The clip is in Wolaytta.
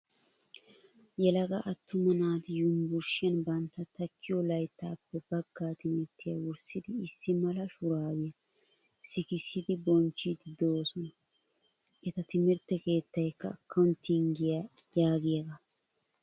Yelaga attuma naati yumbburshiyan bantta takkiyo layittaappe bagga timirttiya wurssidi issi mala shuraabiya sikissidi bonchchiiddi doosona. Eta timirtte keettayikka "akkawintingiya" yaagiyogaa.